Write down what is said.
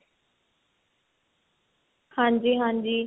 ਹਾਂਜੀ ਹਾਂਜੀ